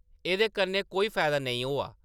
एह्‌‌‌दे कन्नै कोई फायदा नेईं होआ ।